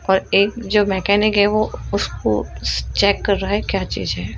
और एक जो मेकेनिक है वो उसको चेक कर रहा है क्या चीज है।